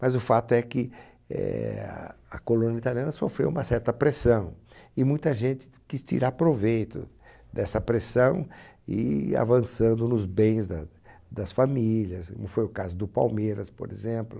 Mas o fato é que, eah, a colônia italiana sofreu uma certa pressão e muita gente ti quis tirar proveito dessa pressão e ir avançando nos bens da das famílias, como foi o caso do Palmeiras, por exemplo.